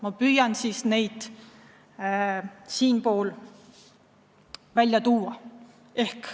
Ma püüan siis need välja tuua.